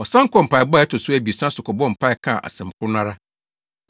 Ɔsan kɔɔ mpaebɔ a ɛto so abiɛsa so kɔbɔɔ mpae kaa asɛm koro no ara.